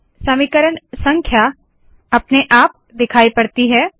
समीकरण संख्या अपने आप दिखाई पड़ती है